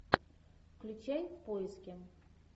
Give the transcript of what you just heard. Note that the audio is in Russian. включай поиски